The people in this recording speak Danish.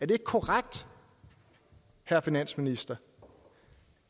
det ikke korrekt herre finansminister